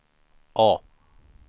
A